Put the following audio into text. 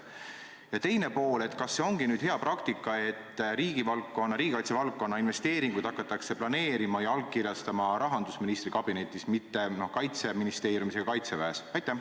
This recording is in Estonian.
Ja teine pool: kas see ongi nüüd hea praktika, et riigikaitse valdkonna investeeringuid hakatakse planeerima ja allkirjastama rahandusministri kabinetis, mitte Kaitseministeeriumis ega Kaitseväes?